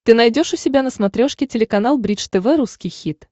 ты найдешь у себя на смотрешке телеканал бридж тв русский хит